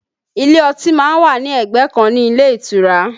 Ilé ọtí má ń wà ní ẹgbẹ́ kan ní ilé ìtura